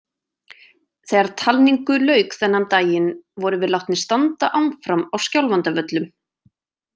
Þegar talningu lauk þennan daginn vorum við látnir standa áfram á Skjálfandavöllum.